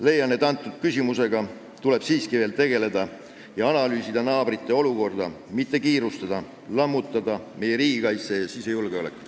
Leian, et selle küsimusega tuleb siiski veel tegeleda ja analüüsida naabrite olukorda, mitte kiirustada ning lammutada meie riigikaitset ja sisejulgeolekut.